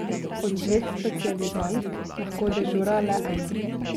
Od dveh specializantk lahko dežura le ena.